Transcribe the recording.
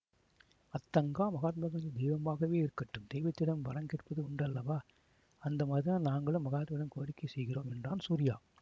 அத்தங்கா மகாத்மா காந்தி தெய்வமாகவே இருக்கட்டும் தெய்வத்திடம் வரம் கேட்பது உண்டல்லவா அந்த மாதிரிதான் நாங்களும் மகாத்மாவிடம் கோரிக்கை செய்கிறோம் என்றான் சூரியா